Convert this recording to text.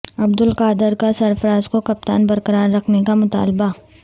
عبدالقادر کا سرفراز کو کپتان برقرار رکھنے کا مطالبہ